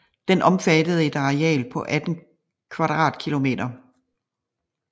Den omfattede et areal på 18 km²